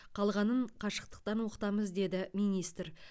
қалғанын қашықтықтан оқытамыз деді министр